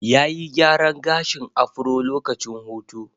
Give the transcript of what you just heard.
Ya yi gyaran gashin afro lokacin hutu.